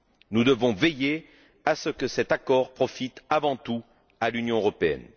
Nous devons veiller à ce que cet accord profite avant tout à l'Union européenne.